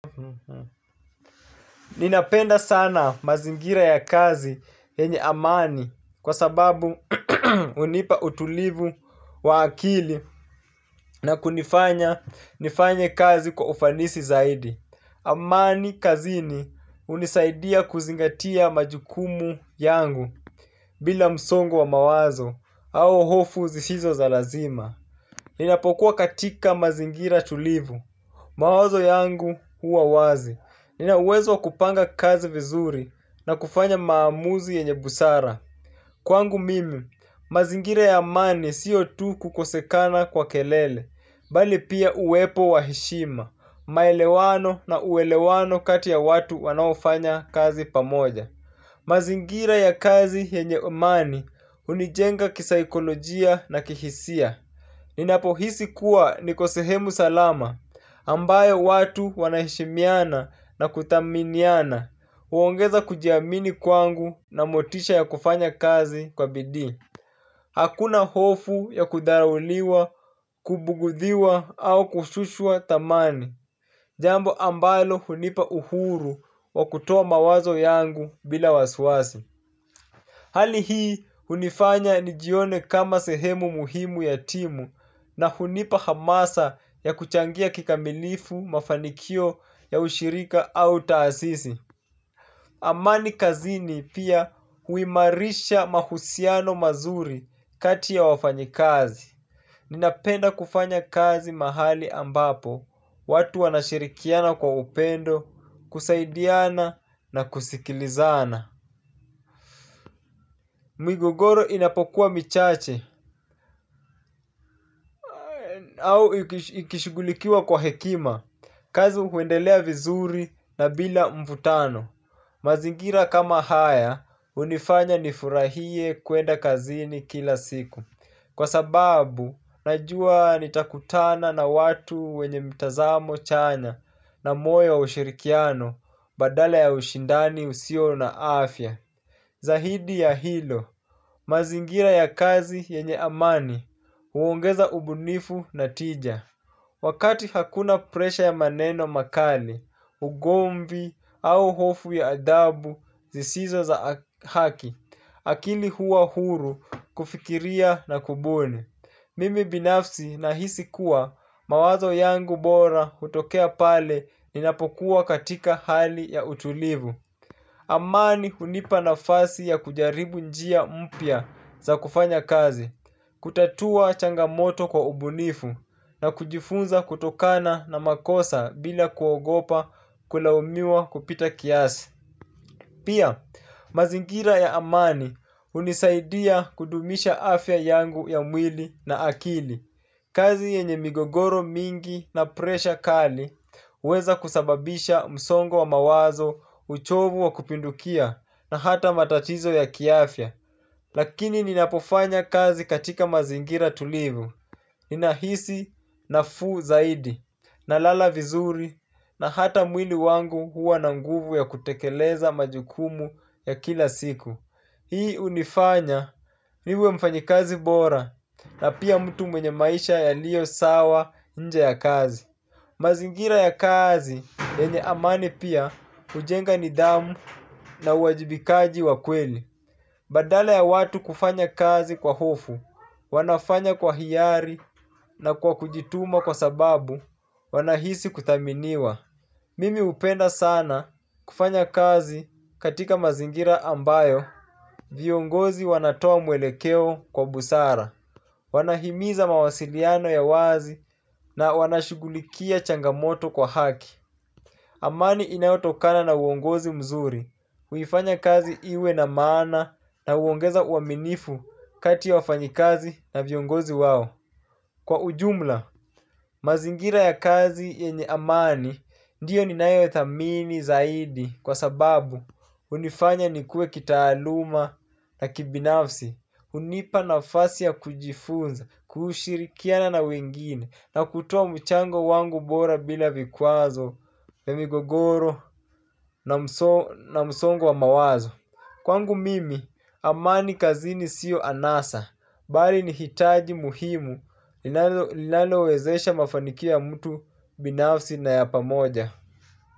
Ninapenda sana mazingira ya kazi yenye amani kwa sababu hunipa utulivu wa akili na kunifanya nifanye kazi kwa ufanisi zaidi. Amani kazini hunisaidia kuzingatia majukumu yangu bila msongo wa mawazo au hofu zisizo za lazima. Ninapokuwa katika mazingira tulivu, mawazo yangu huwa wazi, nina uwezo wa kupanga kazi vizuri na kufanya maamuzi yenye busara. Kwangu mimi, mazingira ya amani sio tu kukosekana kwa kelele, bali pia uwepo wa heshima, maelewano na uelewano kati ya watu wanaofanya kazi pamoja. Mazingira ya kazi yenye amani hunijenga kisaikolojia na kihisia. Ninapohisi kuwa niko sehemu salama ambayo watu wanaheshimiana na kuthaminiana huongeza kujiamini kwangu na motisha ya kufanya kazi kwa bidii. Hakuna hofu ya kudharauliwa, kubugudhiwa au kushushwa thamani. Jambo ambalo hunipa uhuru wa kutoa mawazo yangu bila wasiwasi. Hali hii hunifanya nijione kama sehemu muhimu ya timu na hunipa hamasa ya kuchangia kikamilifu mafanikio ya ushirika au taasisi. Amani kazini pia huimarisha mahusiano mazuri kati ya wafanyikazi. Ninapenda kufanya kazi mahali ambapo watu wanashirikiana kwa upendo, kusaidiana na kusikilizana. Migogoro inapokuwa michache au ikishughulikiwa kwa hekima, kazi huendelea vizuri na bila mvutano. Mazingira kama haya hunifanya nifurahie kuenda kazini kila siku. Kwa sababu, najua nitakutana na watu wenye mitazamo chanya na moyo wa ushirikiano badala ya ushindani usio na afya. Zaidi ya hilo, mazingira ya kazi yenye amani, huongeza ubunifu na tija. Wakati hakuna presha ya maneno makali, ugomvi au hofu ya adabu zisizo za haki, akili huwa huru kufikiria na kubuni. Mimi binafsi nahisi kuwa mawazo yangu bora hutokea pale ninapokuwa katika hali ya utulivu. Amani hunipa nafasi ya kujaribu njia mpya za kufanya kazi, kutatua changamoto kwa ubunifu na kujifunza kutokana na makosa bila kuogopa kulaumiwa kupita kiasi. Pia, mazingira ya amani unisaidia kudumisha afya yangu ya mwili na akili. Kazi yenye migogoro mingi na presha kali huweza kusababisha msongo wa mawazo uchovu wa kupindukia na hata matatizo ya kiafya. Lakini ninapofanya kazi katika mazingira tulivu ninahisi nafuu zaidi. Nalala vizuri. Na hata mwili wangu huwa na nguvu ya kutekeleza majukumu ya kila siku. Hii hunifanya niwe mfanyikazi bora. Na pia mtu mwenye maisha yaliyo sawa nje ya kazi. Mazingira ya kazi yenye amani pia hujenga nidhamu na uwajibikaji wa kweli. Badala ya watu kufanya kazi kwa hofu, wanafanya kwa hiari na kwa kujituma kwa sababu, wanahisi kuthaminiwa. Mimi hupenda sana kufanya kazi katika mazingira ambayo, viongozi wanatoa mwelekeo kwa busara. Wanahimiza mawasiliano ya wazi na wanashughulikia changamoto kwa haki. Amani inayotokana na uongozi mzuri, huifanya kazi iwe na maana na huongeza uaminifu kati ya wafanyikazi na viongozi wao. Kwa ujumla, mazingira ya kazi yenye amani ndiyo ninayothamini zaidi kwa sababu hunifanya nikuwe kitaaluma na kibinafsi. Hunipa nafasi ya kujifunza, kushirikiana na wengine, na kutoa mchango wangu bora bila vikwazo, migogoro, na msongo wa mawazo. Kwangu mimi, amani kazini sio anasa, bali ni hitaji muhimu, linalowezesha mafanikio ya mtu binafsi na ya pamoja.